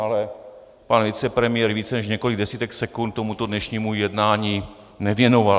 Ale pan vicepremiér více než několik desítek sekund tomuto dnešnímu jednání nevěnoval.